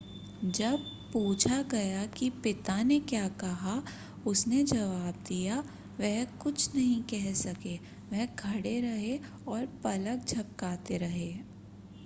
जब पूछा गया कि पिता ने क्या कहा उसने जवाब दिया वह कुछ नहीं कह सके वह खड़े रहे और पलक झपकाते रहे